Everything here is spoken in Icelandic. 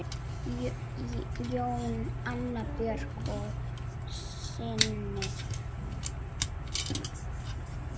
Jón, Anna Björk og synir.